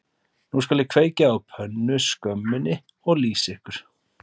Nú skal ég kveikja á pönnuskömminni og lýsa ykkur